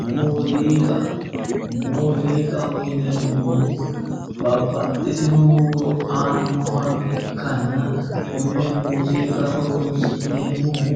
Muuziqa, muuziiqaho yineemmohu babbaxxitino huuro aannoha ikkanna konne muuziqa horronsi'neemmohu